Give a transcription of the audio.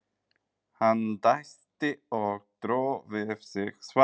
Hann dæsti og dró við sig svarið.